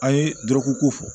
An ye dɔrɔguko fɔ